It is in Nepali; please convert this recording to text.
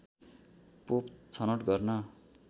पोप छनौट गर्न